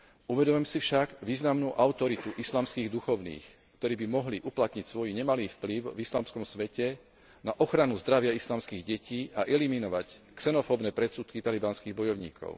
Uvedomujem si však významnú autoritu islamských duchovných, ktorí by mohli uplatniť svoj nemalý vplyv v islamskom svete na ochranu zdravia islamských detí a eliminovať xenofóbne predsudky talibanských bojovníkov.